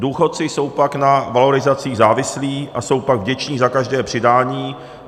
Důchodci jsou pak na valorizaci závislí a jsou pak vděční za každé přidání.